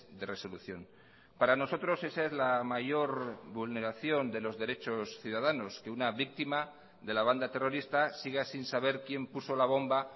de resolución para nosotros esa es la mayor vulneración de los derechos ciudadanos que una víctima de la banda terrorista siga sin saber quién puso la bomba